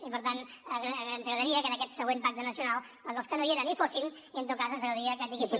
i per tant ens agradaria que en aquest següent pacte nacional doncs els que no hi eren hi fossin i en tot cas ens agradaria que tinguéssim